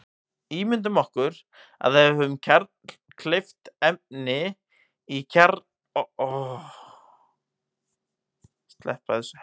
Ímyndum okkur að við höfum kjarnkleyft efni í kjarnaofni.